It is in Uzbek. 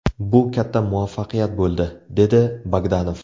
Bu katta muvaffaqiyat bo‘ldi”, dedi Bogdanov.